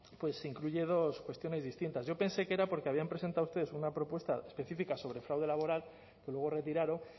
pues incluye dos cuestiones distintas yo pensé que era porque habían presentado ustedes una propuesta específica sobre fraude laboral que luego retiraron